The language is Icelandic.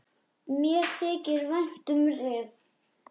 Mér þykir vænt um Rif.